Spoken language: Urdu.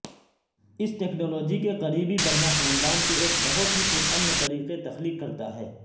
اس ٹیکنالوجی کے قریبی بننا خاندان کے ایک بہت ہی پرامن طریقے تخلیق کرتا ہے